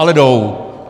Ale jdou.